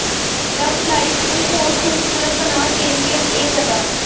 ਲਵ life ਨੂੰ ਹੋਰ ਖੂਬਸੂਰਤ ਬਣਾ ਦੇਣਗੀਆਂ ਇਹ ਗੱਲਾਂ